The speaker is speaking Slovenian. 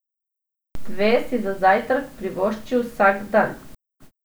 Dve si za zajtrk privošči vsak dan.